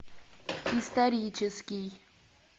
исторический